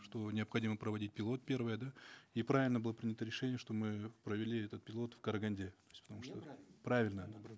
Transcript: что необходимо проводить пилот первое да и правильно было принято решение что мы провели этот пилот в караганде то есть потому что правильно наоборот